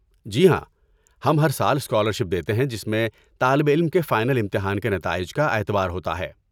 جی ہاں، ہم ہر سال اسکالرشپ دیتے ہیں جس میں طالب علم کے فائنل امتحان کے نتائج کا اعتبار ہوتا ہے۔